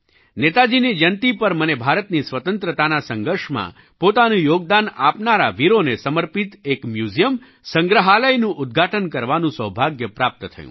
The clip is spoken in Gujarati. નેતાજીની જયંતી પર મને ભારતની સ્વતંત્રતાના સંઘર્ષમાં પોતાનું યોગદાન આપનારા વીરોને સમર્પિત એક મ્યુઝિયમ સંગ્રહાલયનું ઉદ્ઘાટન કરવાનું સૌભાગ્ય પ્રાપ્ત થયું